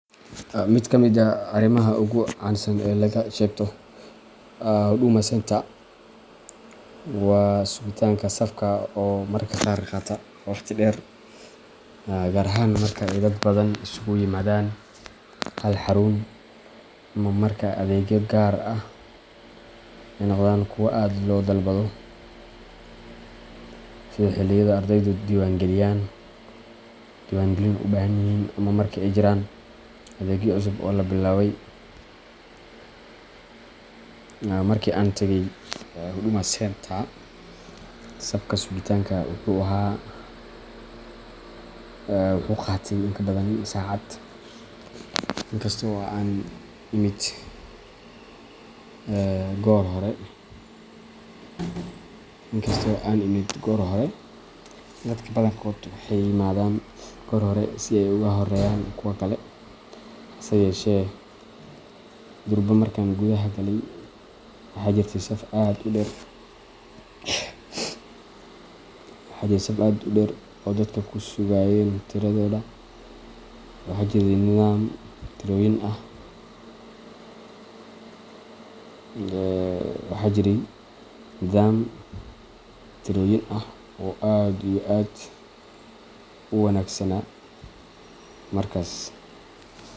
Mid ka mid ah arrimaha ugu caansan ee laga sheegto Huduma Centre waa sugitaanka safka oo mararka qaar qaata waqti dheer, gaar ahaan marka ay dad badan isugu yimaadaan hal xarun ama marka adeegyo gaar ah ay noqdaan kuwo aad loo dalbado, sida xilliyada ardaydu diiwaangelin u baahan yihiin ama marka ay jiraan adeegyo cusub oo la bilaabay. Markii aan tagay Huduma Centre, safka sugitaanku wuxuu qaatay in ka badan saacad , inkasta oo aan imid goor hore. Dadka badankood waxay yimaadaan goor hore si ay uga horreeyaan kuwa kale, hase yeeshee, durba markaan gudaha galay, waxaa jirtay saf aad u dheer oo dadku ku sugayeen tiradooda. Waxaa jiray nidaam tirooyin ah oo aad iyo aad u wanagsana markas.